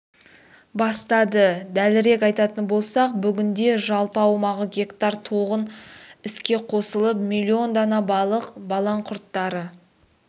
бастады дәлірек айтатын болсақ бүгінде жалпы аумағы гектар тоған іске қосылып миллион дана балық балаңқұрттары